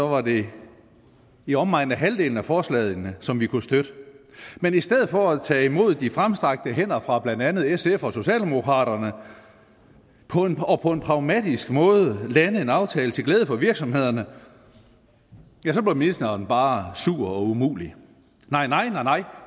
var det i omegnen af halvdelen af forslagene som vi kunne støtte men i stedet for at tage imod de fremstrakte hænder fra blandt andet sf og socialdemokraterne og på en pragmatisk måde lande en aftale til glæde for virksomhederne ja så blev ministeren bare sur og umulig nej nej